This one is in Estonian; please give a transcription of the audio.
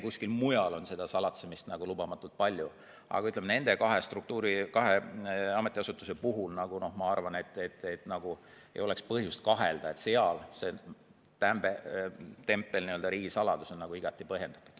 Kuskil mujal ehk on salatsemist lubamatult palju, aga nende kahe ametiasutuse puhul minu arvates ei ole põhjust kahelda, et seal tempel "riigisaladus" on igati põhjendatud.